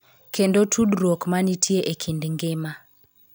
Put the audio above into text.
Kendo tudruok ma nitie e kind ngima.